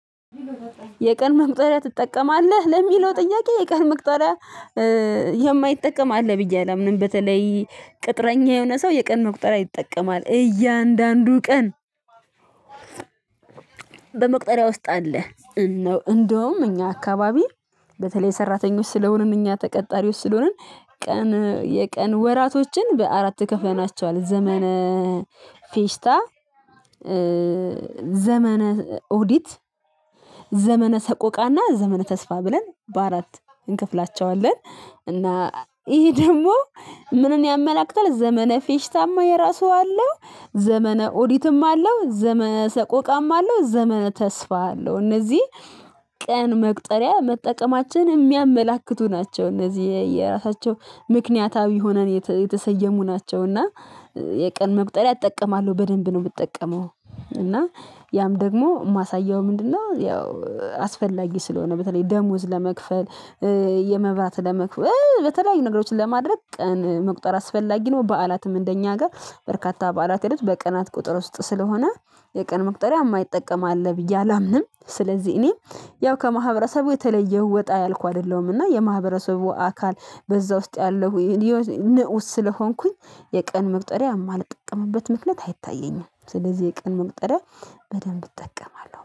የቀን መቁጠሪያ ትጠቀማለህ? ለሚለው ጥያቄ የቀን መቁጠሪያ የማይጠቀም አለ ብዬ አላምንም በተለይ ቅጥረኛ የሆነ ሰው የቀን መቁጠሪያ ይጠቀማል እያንዳንዱ ቀን በመቁጠሪያ ውስጥ አለ። እንደውም እኛ አካባቢ በተለይ ሰራተኞች ስለሆንን እኛ ተቀጣሪዎች ስለሆንን ቀን የቀን ወራቶችን በአራት ተከፈናቸዋል ዘመነ ፌሽታ ዘመነ ኦዲት ዘመነ ሰቆቃና ዘመነ ተስፋ ብለን በአራት እንከፍላቸዋለን። እና ይሄ ደግሞ ምንን ያመላክታል ዘመነ ፌሽታማ የራሱ አለው ዘመነ ኦዲትም አለው ዘመነ ሰቆቃም አለው ዘመነ ተስፋ አለው እነዚህ ቀን መቁጠሪያ መጠቀማችን የሚያመላክቱ ናቸው። እነዚህ የየራሳቸው ምክንያታዊ ሆነን የተሰየሙ ናቸው እና የቀን መቁጠሪያ እጠቀማለሁ በደንብ ነው የምትጠቀመው እና ያም ደግሞ ማሳየው ምንድነው ያው አስፈላጊ ስለሆነ በተለይ ደሞዝ ለመክፈል የመባት ለመክፈል በተለያዩ ነገሮችን ለማድረግ ቀን መቁጠር አስፈላጊ ነው። በዓላትም እንደኛ ሀገር በርካታ በዓላት ሂደት በቀናት ቁጥር ውስጥ ስለሆነ የቀን መቁጠሪያ የማይጠቀም አለ ብዬ አላምንም ስለዚህ እኔ ያው ከማህበረሰቡ የተለየው ወጣ ያልኩ አይደለሁምና የማህበረሰቡ አካል በዛ ውስጥ ያለው ንዑስ ስለሆንኩኝ የቀን መቁጠሪያ አማልጠቅምበት ምክንያት አይታየኝም ስለዚህ የቀን መቁጠሪያ በደንብ እጠቀማለው።